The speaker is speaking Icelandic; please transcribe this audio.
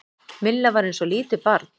Milla var eins og lítið barn.